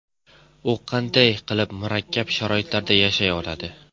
U qanday qilib murakkab sharoitlarda yashay oladi ?